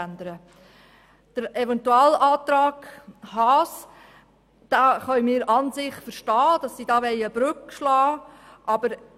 Beim Eventualantrag Haas können wir an und für sich verstehen, dass er eine Brücke schlagen möchte.